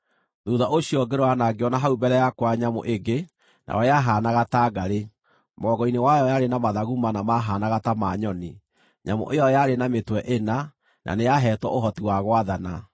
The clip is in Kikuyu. “Thuutha ũcio ngĩrora na ngĩona hau mbere yakwa nyamũ ĩngĩ, nayo yahaanaga ta ngarĩ. Mũgongo-inĩ wayo yarĩ na mathagu mana maahaanaga ta ma nyoni. Nyamũ ĩyo yarĩ na mĩtwe ĩna, na nĩyahetwo ũhoti wa gwathana.